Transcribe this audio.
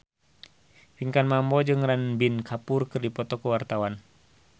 Pinkan Mambo jeung Ranbir Kapoor keur dipoto ku wartawan